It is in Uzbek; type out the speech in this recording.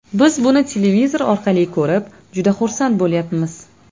Biz buni televizor orqali ko‘rib, juda xursand bo‘lyapmiz.